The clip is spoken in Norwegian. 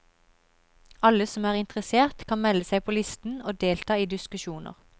Alle som er interessert kan melde seg på listen og delta i diskusjoner.